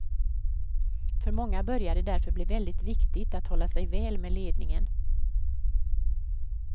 För många börjar det därför bli väldigt viktigt att hålla sig väl med ledningen.